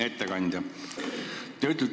Hea ettekandja!